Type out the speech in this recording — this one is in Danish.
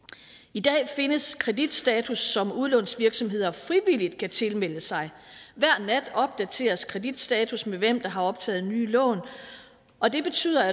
i dag findes kreditstatus som udlånsvirksomheder frivilligt kan tilmelde sig hver nat opdateres kreditstatus med hvem der har optaget nye lån og det betyder